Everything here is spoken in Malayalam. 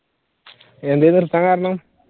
എന്തെ നിർത്താൻ കാരണം?